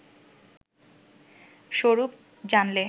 স্বরূপ জানলে